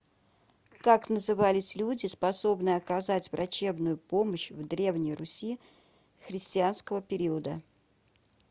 как назывались люди способные оказать врачебную помощь в древней руси христианского периода